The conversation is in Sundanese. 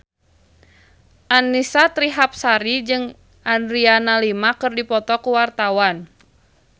Annisa Trihapsari jeung Adriana Lima keur dipoto ku wartawan